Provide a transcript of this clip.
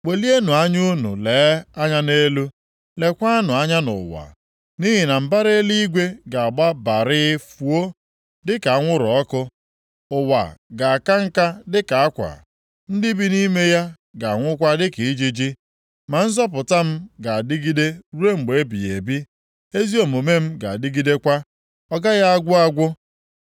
Welienụ anya unu lee anya nʼelu, leekwanụ anya nʼụwa, nʼihi na mbara eluigwe ga-agba barịị fuo, dịka anwụrụ ọkụ; ụwa ga-aka nka dịka akwa, ndị bi nʼime ya ga-anwụkwa dịka ijiji. Ma nzọpụta m ga-adịgide ruo mgbe ebighị ebi, ezi omume m ga-adịgidekwa, ọ gaghị agwụ agwụ.